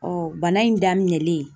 Ɔɔ bana in daminɛlen